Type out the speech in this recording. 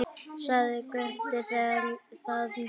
Sagði Gutti þér það líka?